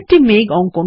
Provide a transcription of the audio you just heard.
আপনি একটি মেঘ160